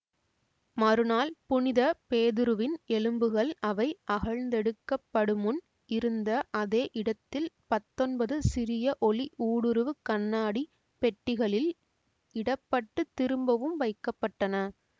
மறுநாள் புனித பேதுருவின் எலும்புகள் அவை அகழ்ந்தெடுக்கப்படுமுன் இருந்த அதே இடத்தில் பத்தொன்பது சிறிய ஒளி ஊடுருவு கண்ணாடி பெட்டிகளில் இடப்பட்டு திரும்பவும் வைக்க பட்டன